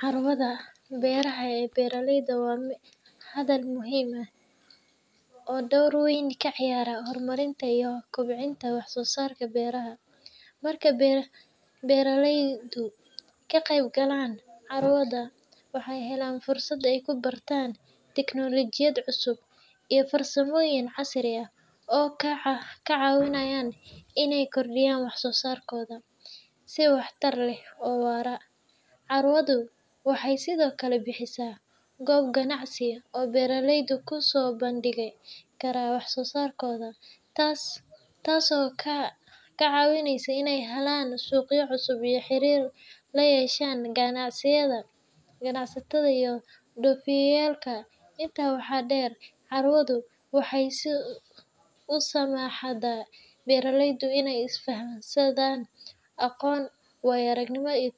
Carwada beeraha ee beraleyda waa madal muhiim ah oo door weyn ka ciyaarta horumarinta iyo kobcinta wax soo saarka beeraha. Marka beeraleydu ka qayb galaan carwada, waxay helaan fursad ay ku bartaan teknoolojiyad cusub iyo farsamooyin casri ah oo ka caawinaya inay kordhiyaan wax soo saarkooda si waxtar leh oo waara. Carwadu waxay sidoo kale bixisaa goob ganacsi oo beeraleydu ku soo bandhigi karaan wax soo saarkooda, taasoo ka caawinaysa inay helaan suuqyo cusub iyo xiriir la yeeshaan ganacsato iyo dhoofiyayaal. Intaa waxaa dheer, carwadu waxay u saamaxdaa beeraleyda inay isdhaafsadaan aqoon, waayo-aragnimo, iyo